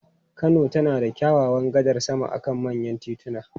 Kano tana da kyawawan gadar sama akan manyan tituna.